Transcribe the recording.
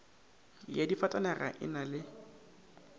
ya difatanaga e na le